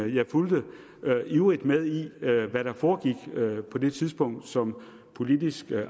jeg fulgte ivrigt med i hvad hvad der foregik på det tidspunkt som politisk